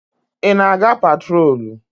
Ị na-aga patrolu?